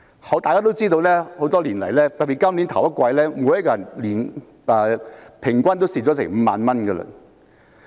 眾所周知，多年來，特別是今年首季，每人平均虧蝕5萬元。